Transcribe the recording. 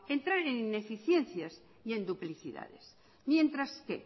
entrar en ineficiencias y en duplicidades mientras que